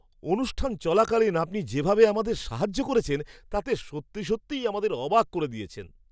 অনুষ্ঠান চলাকালীন আপনি যেভাবে আমাদের সাহায্য করেছেন তাতে সত্যি সত্যিই আমাদের অবাক করে দিয়েছেন!